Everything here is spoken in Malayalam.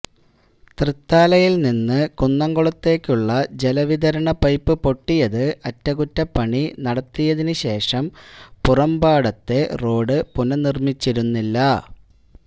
തൃത്താലയില്നിന്ന് കുന്നംകുളത്തേക്കുള്ള ജലവിതരണ പൈപ്പ് പൊട്ടിയത് അറ്റകുറ്റപ്പണി നടത്തിയതിനു ശേഷം പാറേമ്പാടത്തെ റോഡ് പുനര്നിര്മിച്ചിരുന്നില്ല